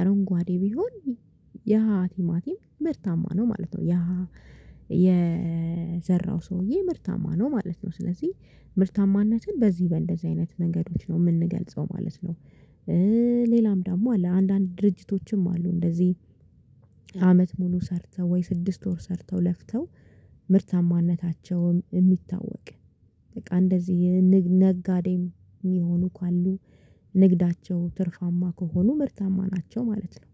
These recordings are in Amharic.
አረንጓዴ ቢሆን ያሀ ቲማቲም ምርታማ ነው ማለት ነው። የዘራው ሰውዬ ምርታማ ነው ማለት ነው። ስለዚህ ምርታማነትን በዚህ በእንደዚህ አይነት ነገሮች ነው የምንገልጸው ማለት ነው። ሌላም ደግሞ አለ አንዳንድ ድርጅቶችም አሉ እንደዚህ። አመት ሙሉ ሰርተው ወይ ስድስት ወር ሰርተው ለፍተው ምርታማነታቸውም የሚታወቅ በቃ እንደዚህ ነጋዴም ሚሆኑ ካሉ ንግዳቸው ትርፋማ ከሆኑ ምርታማ ናቸው ማለት ነው።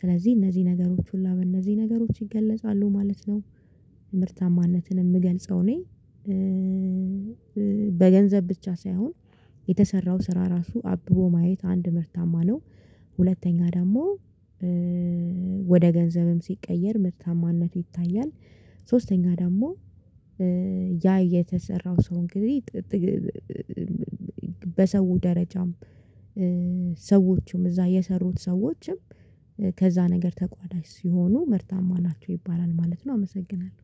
ስለዚህ እነዚህ ነገሮች ሁላ በእነዚህ ነገሮች ይገለጻሉ ማለት ነው። ምርታማነትን የምገልጸው እኔ በገንዘብ ብቻ ሳይሆን የተሰራው ስራ ራሱ አብቦ ማየት አንድ ምርታማ ነው። ሁለተኛ ደግሞ ወደ ገንዘብም ሲቀየር ምርታማነቱ ይታያል። ሶስተኛ ደግሞ ያ የተሰራው ሰው እንግዲህ በሰው ደረጃም ሰዎችም እዛ የሰሩት ሰዎችም ከዛ ነገር ተቋዳሽ ሲሆኑ ምርታማ ናቸው ይባላል። ማለት ነው አመሰግናለሁ